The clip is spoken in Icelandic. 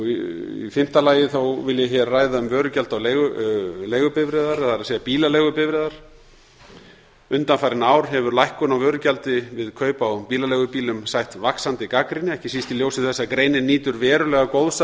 í fimmta lagi vil ég hér ræða um vörugjald á bílaleigubifreiðar undanfarin ár hefur lækkun á vörugjaldi við kaup á bílaleigubílum sætt vaxandi gagnrýni ekki síst í ljósi þess að greinin nýtur verulega góðs